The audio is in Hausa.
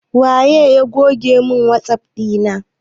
Waye goge mun wasap ɗina na?